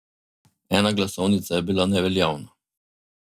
Ena glasovnica je bila neveljavna.